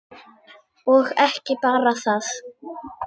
Og ekki bara það: